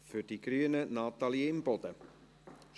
Für die Grünen hat Natalie Imboden das Wort.